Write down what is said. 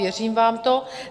Věřím vám to.